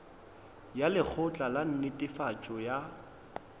ya lekgotla la netefatšo ya